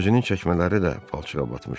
Özünün çəkmələri də palçığa batmışdı.